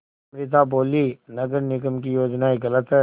अमृता बोलीं नगर निगम की योजना गलत है